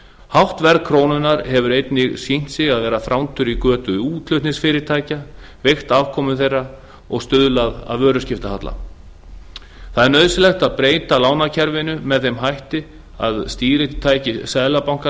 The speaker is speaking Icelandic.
hátt verð krónunnar hefur einnig sýnt sig að vera þrándur í götu útflutningsfyrirtækja veikt afkomu þeirra og stuðlað að vöruskiptahalla það er nauðsynlegt er að breyta lánakerfinu með þeim hætti að stýritæki seðlabankans